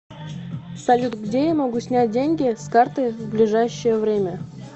салют где я могу снять деньги с карты в ближайшее время